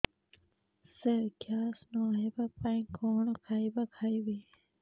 ସାର gas ନ ହେବା ପାଇଁ କଣ ଖାଇବା ଖାଇବି